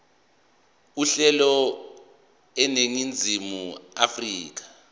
uhlelo eningizimu afrika